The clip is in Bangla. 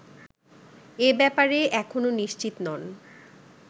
এ ব্যাপারে এখনো নিশ্চিত নন